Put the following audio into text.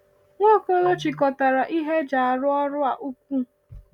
Nwaokolo chịkọtara ihe eji arụ ọrụ a ukwu.